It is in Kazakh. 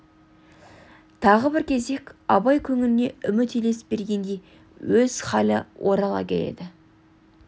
тағы бір кезек абай көңіліне үміт елес бергендей өз халі орала келеді